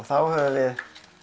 þá höfum við